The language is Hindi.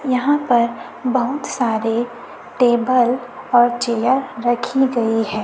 यहां पर बहुत सारे टेबल और चेयर रखी गई है।